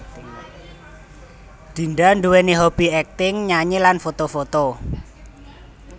Dinda nduwèni hobby acting nyanyi lan foto foto